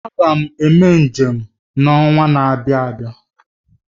M ga-eme njem n'ọnwa na-abịa